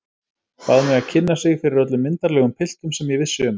Bað mig að kynna sig fyrir öllum myndarlegum piltum sem ég vissi um.